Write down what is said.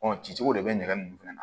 cicogo de bɛ nɛgɛ nunnu fana na